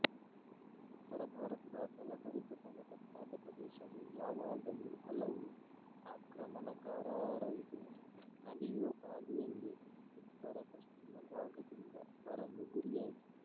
ಉತ್ತರ ಭಾರತದ ಫಲಭರಿತ ಸಮತಟ್ಟಾದ ಪ್ರದೇಶವು ಯಾವಾಗಲೂಹಲವು ಆಕ್ರಮಣಕಾರಾರಿಗೆ ನದಿಯೋಪಾದಿಯಲ್ಲಿ ಉತ್ತರಪಶ್ಚಿಮ ಭಾಗದಿಂದ ಬರಲು ಗುರಿಯಾಯಿತು